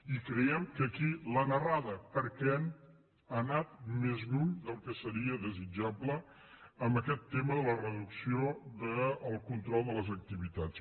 i creiem que aquí l’han errada perquè han anat més lluny del que seria desitjable en aquest tema de la re·ducció del control de les activitats